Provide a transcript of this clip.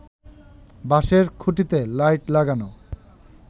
বাঁশের খুঁটিতে লাইট লাগানো